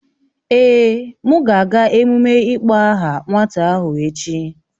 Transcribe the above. Èè, m ga-aga emume ịkpọ aha nwata ahụ echi